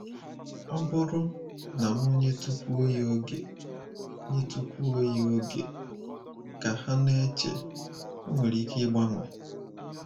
‘Ọ bụrụ na m nyetụkwuo ya oge nyetụkwuo ya oge, ’ ka ha na-eche, 'ọ nwere ike ịgbanwe.'